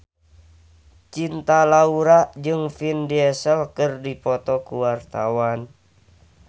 Cinta Laura jeung Vin Diesel keur dipoto ku wartawan